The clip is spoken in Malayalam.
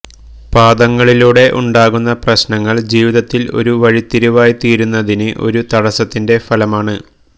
പാദങ്ങളിലൂടെ ഉണ്ടാകുന്ന പ്രശ്നങ്ങൾ ജീവിതത്തിൽ ഒരു വഴിത്തിരിവായിത്തീരുന്നതിന് ഒരു തടസ്സത്തിൻറെ ഫലമാണ്